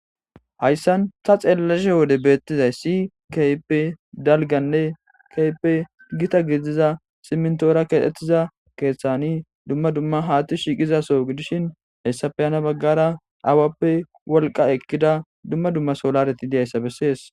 hayssan ta xeellashe wode beettizay si kehipe dalganne kiihippe gita gidiza simntoora keexettiza keeththani dumma dumma haatti shiiqizaso gidishin hessafeyana baggara awappe wolqa ekkida dumma dumma solareti deyayssa bessees